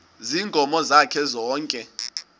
ziinkomo zakhe zonke